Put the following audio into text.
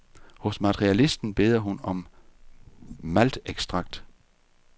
Hos materialisten beder hun om maltekstrakt.